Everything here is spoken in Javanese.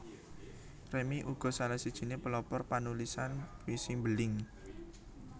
Remy uga salah sijiné pelopor panulisan puisi mbeling